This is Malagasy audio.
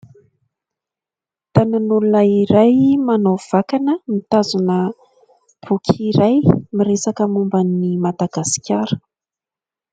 Tanan'olona iray manao vakana, mitazona boky iray miresaka momba an'ny Madagasikara.